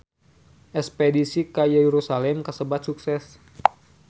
Espedisi ka Yerusalam kasebat sukses